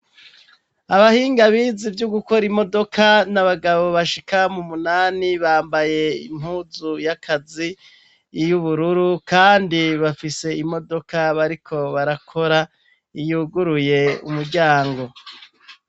Abahinga bize ivyo gukora imodoka n'abagabo bashika mu umunani, bambaye impuzu y'akazi y'ubururu kandi bafise imodoka bariko barakora yuguruye umuryango.